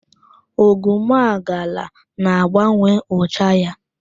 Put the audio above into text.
Ogwumagala na-agbanwe ụcha ya.